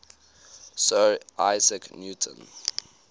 sir isaac newton